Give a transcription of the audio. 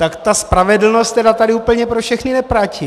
Tak ta spravedlnost tedy tady úplně pro všechny neplatí.